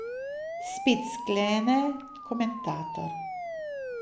Spet, sklene komentator.